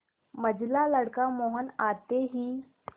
मंझला लड़का मोहन आते ही